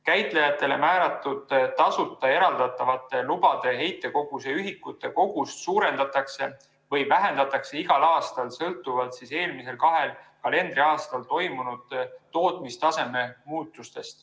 Käitajatele määratud tasuta eraldatavate lubade heitkoguse ühikute kogust suurendatakse või vähendatakse igal aastal sõltuvalt eelmisel kahel kalendriaastal toimunud tootmistaseme muutustest.